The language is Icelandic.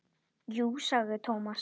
Jú sagði Thomas.